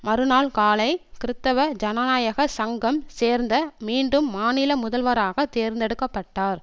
மறுநாள் காலை கிறித்தவ ஜனநாயக சங்கம் சேர்ந்த மீண்டும் மாநில முதல்வராக தேர்ந்தெடுக்க பட்டார்